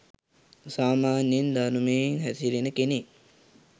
සාමාන්‍යයෙන් ධර්මයේ හැසිරෙන කෙනෙක්